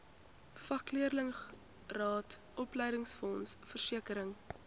vakleerlingraad opleidingsfonds versekering